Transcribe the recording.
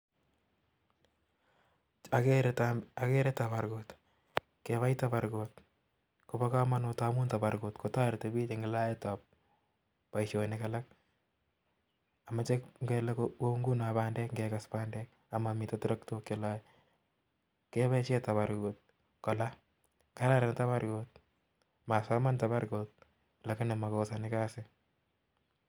Okere tabarkut, tabarkut kobokomonut amun tabarkut kotoreti biik en laetab boishonik alak, amoche ng'ele kou ng'unon bandek ing'ekes bandek amami terektos cheloe keboishen tabarkutkolaa, kararan tabarkut, masoman tabarkut llakinii makosoni kasit.